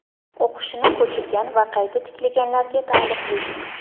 o‘qishini ko‘chirgan va qayta tiklaganlarga taalluqli.